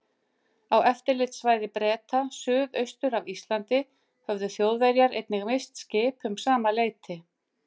Á eftirlitssvæði Breta suðaustur af Íslandi höfðu Þjóðverjar einnig misst skip um sama leyti.